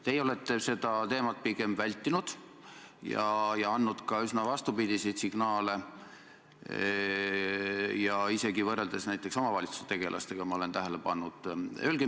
Teie olete seda teemat pigem vältinud ja andnud ka üsna vastupidiseid signaale, isegi võrreldes näiteks omavalitsustegelastega, ma olen tähele pannud.